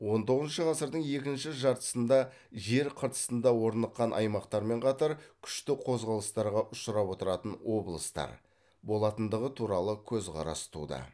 он тоғызыншы ғасырдың екінші жартысында жер қыртысында орныққан аймақтармен қатар күшті қозғалыстарға ұшырап отыратын облыстар болатындығы туралы көзқарас туды